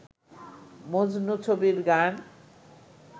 মজনু ছবির গান